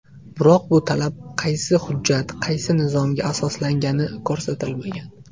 Biroq bu talab qaysi hujjat, qaysi nizomga asoslangani ko‘rsatilmagan.